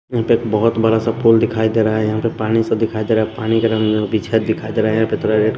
यहां पे एक बहुत बड़ा सा पोल दिखाई दे रहा है यहां पे पानी सा दिखाई दे रहा है पानी का रंग बिछा दिखाई दे रहा है यहां पे --]